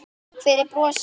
Takk fyrir brosið.